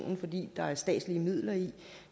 fordi der er statslige midler i